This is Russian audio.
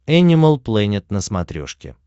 энимал плэнет на смотрешке